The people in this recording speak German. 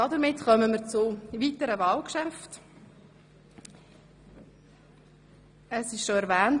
Damit kommen wir zu den weiteren Wahlgeschäften.